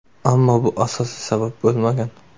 Ammo bu asosiy sabab bo‘lmagan.